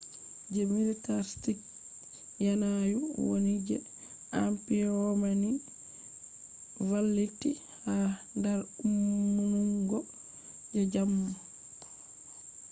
je millitarstic yanayu woni je roman empire valliti ha dar ummungo je jamo